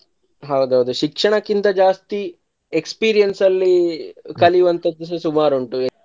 ಹೌದು ಹೌದು ಶಿಕ್ಷಣಕ್ಕಿಂತ ಜಾಸ್ತಿ experience ಅಲ್ಲಿ ಕಲಿಯುವಂಥದ್ದುಸ ಸುಮಾರ್ ಉಂಟು.